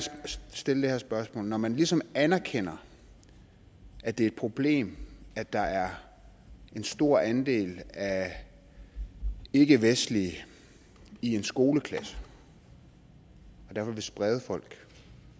stille det her spørgsmål når man ligesom anerkender at det er et problem at der er en stor andel af ikkevestlige i en skoleklasse og derfor vil sprede folk